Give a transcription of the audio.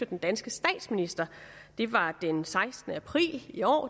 den danske statsminister det var den sekstende april i år